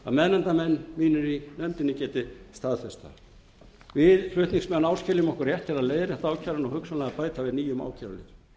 að meðnefndarmenn mínir í nefndinni geti staðfest það við flutningsmenn áskiljum okkur rétt til að leiðrétta ákæruna og hugsanlega bæta við nýjum ákæruliðum